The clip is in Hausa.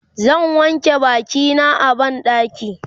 zan wanke bakina a banɗaki